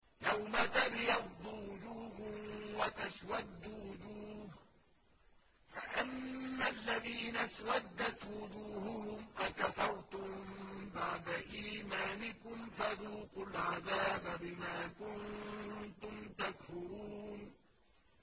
يَوْمَ تَبْيَضُّ وُجُوهٌ وَتَسْوَدُّ وُجُوهٌ ۚ فَأَمَّا الَّذِينَ اسْوَدَّتْ وُجُوهُهُمْ أَكَفَرْتُم بَعْدَ إِيمَانِكُمْ فَذُوقُوا الْعَذَابَ بِمَا كُنتُمْ تَكْفُرُونَ